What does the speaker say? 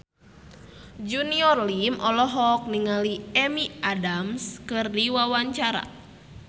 Junior Liem olohok ningali Amy Adams keur diwawancara